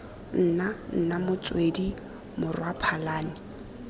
nna nna motswedi morwa phalane